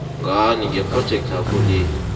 ngani ngephrojekthakho le